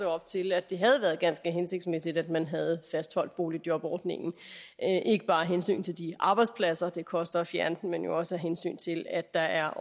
op til at det havde været ganske hensigtsmæssigt at man havde fastholdt boligjobordningen ikke bare af hensyn til de arbejdspladser det koster at fjerne dem men jo også af hensyn til at der er